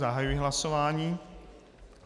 Zahajuji hlasování.